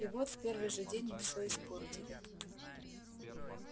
и вот в первый же день мы всё испортили